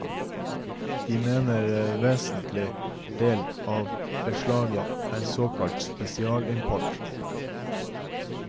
De mener en vesentlig del av beslaget er såkalt spesialimport.